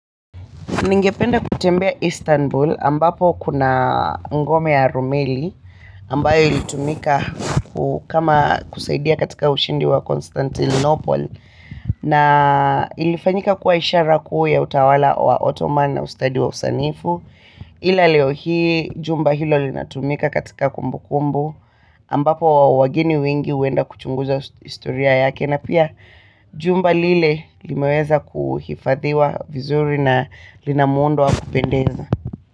Ningependa kutembea Istanbul ambapo kuna ngome ya rumeli ambayo ilitumika kama kusaidia katika ushindi wa Constantinople na ilifanyika kuwa isharaku ya utawala wa Ottoman na ustadi wa usanifu. Ila leo hii jumba hilo linatumika katika kumbu kumbu ambapo wageni wengi huenda kuchunguza historia yake na pia jumba lile limeweza kuhifadhiwa vizuri na linamundo wa kupendeza.